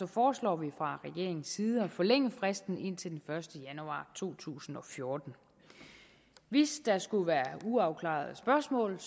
foreslår vi fra regeringens side at forlænge fristen til den første januar to tusind og fjorten hvis der skulle være uafklarede spørgsmål